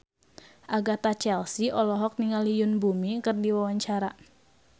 Agatha Chelsea olohok ningali Yoon Bomi keur diwawancara